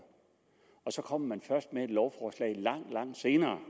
og så kommer man først med et lovforslag langt langt senere